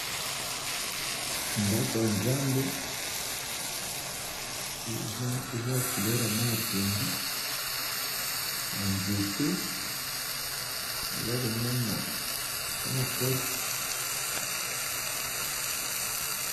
Ndako ya nzambe eza na Langi ya pundu ba nzete pembeni.